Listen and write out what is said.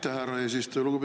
Aitäh, härra eesistuja!